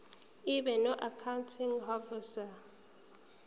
ibe noaccounting ihhovisir